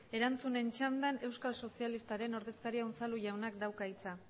erantzunen txandan euskal sozialistaren ordezkariak unzalu jaunak dauka hitza